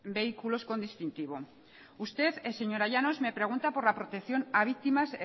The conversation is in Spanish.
vehículos con distintivo usted señora llanos me pregunta por la protección a víctimas